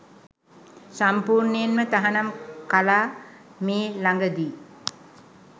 සම්පූර්නයෙන්ම තහනම් කලා මේ ලඟදි.